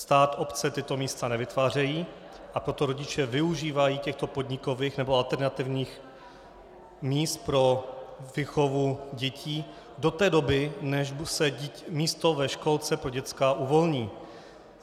Stát, obce tato místa nevytvářejí, a proto rodiče využívají těchto podnikových nebo alternativních míst pro výchovu dětí do té doby, než se místo ve školce pro děcka uvolní.